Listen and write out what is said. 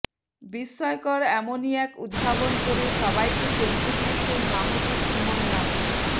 বিস্ময়কর এমনই এক উদ্ভাবন করে সবাইকে চমকে দিয়েছেন মাহবুব সুমন নামের